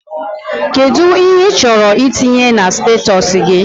Kedụ ihe ị chọrọ itinye na statọsi gị?